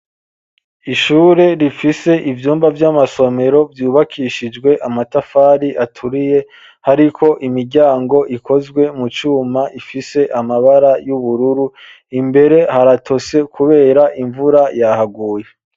Ishure rifise ivyumba vy'amasomero ryubakishijwe amatafari aturiye hariko imiryango ikozwe mu cuma ifise amabara y'ubururu imbere haratose kubera imvura yahaguye.